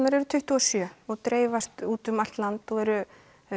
eru tuttugu og sjö og dreifast út um allt land og eru